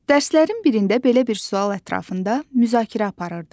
Dərslərin birində belə bir sual ətrafında müzakirə aparırdıq.